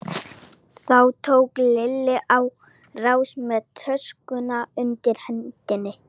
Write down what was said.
Þá tók Lilla á rás með töskuna undir hendinni.